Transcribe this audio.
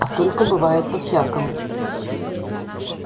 а только бывает по-всякому